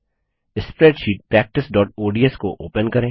spreadsheet practiceओडीएस को open करें